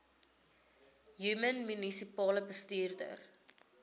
human munisipale bestuurder